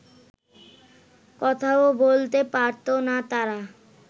কথাও বলতে পারত না তারা